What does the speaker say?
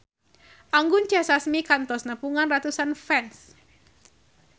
Anggun C. Sasmi kantos nepungan ratusan fans